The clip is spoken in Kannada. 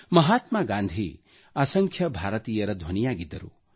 ಮಹಾತ್ಮಾ ಗಾಂಧೀ ಅಸಂಖ್ಯ ಭಾರತೀಯರ ಧ್ವನಿಯಾಗಿದ್ದರು